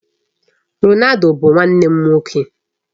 Ronaldo bụ nwanne m nwoke.